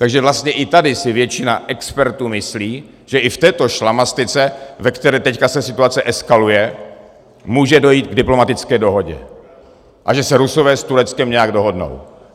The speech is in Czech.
Takže vlastně i tady si většina expertů myslí, že i v této šlamastyce, ve které se teď situace eskaluje, může dojít k diplomatické dohodě a že se Rusové s Tureckem nějak dohodnou.